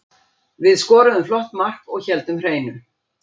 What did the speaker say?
Við skoruðum flott mark og héldum hreinu.